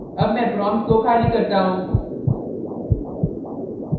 अब मैं prompt को खाली करता हूँ